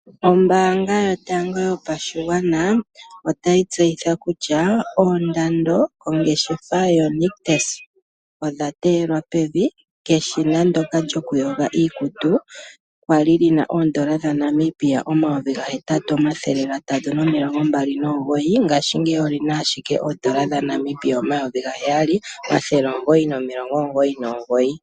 Ombaanga yotango yopashigwana otayi tseyitha kutya oondando dhongeshefa yoNictus odha teyelwa pevi. Eshina ndyoka lyokuyoga iikutu lyali lina N$8329 ngaashingeyi olina ashike N$7999.